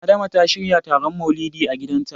Adama ta shirya taron Maulidi a gidanta.